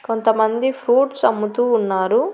కొంతమంది ఫ్రూట్స్ అమ్ముతూ ఉన్నారు.